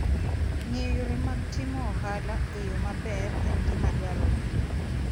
Ng'eyo yore mag timo ohala e yo maber en gima dwarore.